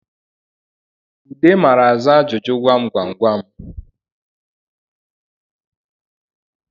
Ude mara aza ajụjụ gwamgwamgwam gwamgwamgwam